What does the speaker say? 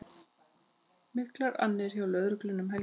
Miklar annir hjá lögreglu um helgina